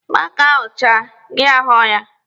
Mango ahụ chaa, gị ghọọrọ ya.